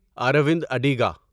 around Adiga